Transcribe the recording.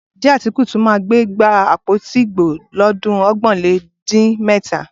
Ǹjẹ́ Átíkù tún máa gbé àpótí ìbò lọ́dún ọgbọ̀nlélẹ́gbàá dín mẹ́ta?